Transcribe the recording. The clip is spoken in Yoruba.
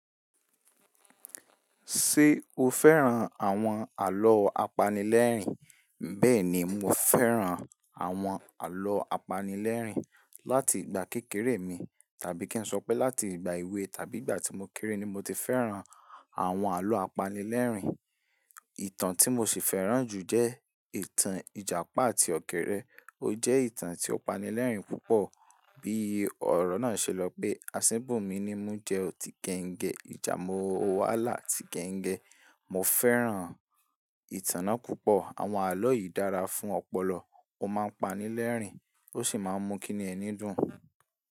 Ṣé o fẹ́ràn àwọn àlọ́ apanilẹ́rìn? Bẹ́ẹ̀ni, mo fẹ́ràn àwọn àlọ́ apanilẹ́rìn. Láti ìgbà kékeré mi, tàbí kí n sọ pé láti ìgbà èwe tàbí ìgbà tí mo kéré ni mo ti fẹ́ràn àwọn àlọ́ apanilẹ́rìn. Ìtàn tí mo sì fẹ́ràn jù jẹ ìtàn Ìjàpá àti Ọ̀kẹ́rẹ́. Ó jẹ́ ìtàn tí ó pani lẹ́rìn púpọ̀. Bí ọ̀rọ̀ náà ṣe lọ pé "Asínbo mi ni mú jẹ ọ ti gẹngẹ, ìjà mo wá là ti gẹngẹ". Mo fẹ́ràn ìtàn náà púpọ̀. Àwọn àlọ́ yìí dára fún ọpọlọ, ó máa ń pani lẹ́rìn, ó sì máa ń mú kí ni ẹni dùn.